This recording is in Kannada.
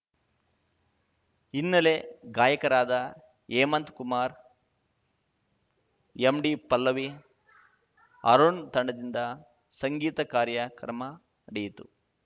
ಹಿನ್ನೆಲೆ ಗಾಯಕರಾದ ಹೇಮಂತ್ ಕುಮಾರ್ ಎಂಡಿಪಲ್ಲವಿ ಅರುಣ್‌ ತಂಡದಿಂದ ಸಂಗೀತ ಕಾರ್ಯಕ್ರಮ ನಡೆಯಿತು